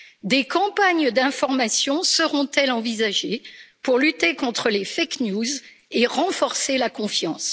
Des campagnes d'information seront elles envisagées pour lutter contre les fake news et renforcer la confiance?